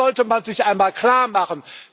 Das sollte man sich einmal klarmachen.